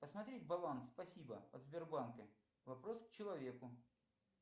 посмотреть баланс спасибо от сбербанка вопрос к человеку